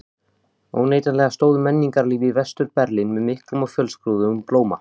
Óneitanlega stóð menningarlíf í Vestur-Berlín með miklum og fjölskrúðugum blóma.